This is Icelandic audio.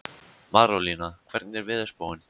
Marólína, hvernig er veðurspáin?